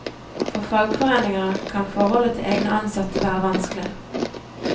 For fagforeninger kan forholdet til egne ansatte være vanskelig.